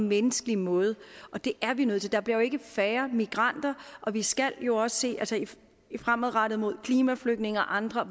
menneskelig måde det er vi nødt til der bliver jo ikke færre migranter og vi skal jo også fremadrettet med hensyn klimaflygtninge og andre